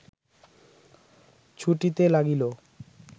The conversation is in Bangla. ছুটিতে লাগিল